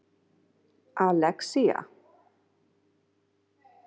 Alexía